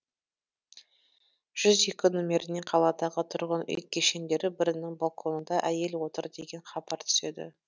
жүз екі номеріне қаладағы тұрғын үй кешендері бірінің балконында әйел отыр деген хабар түседі